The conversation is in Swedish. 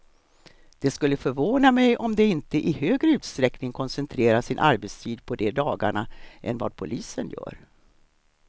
Det skulle förvåna mig om de inte i högre utsträckning koncentrerar sin arbetstid på de dagarna än vad polisen gör.